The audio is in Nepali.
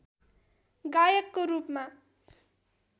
गायकको रूपमा